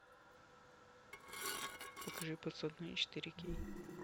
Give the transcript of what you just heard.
покажи подсадные четыре кей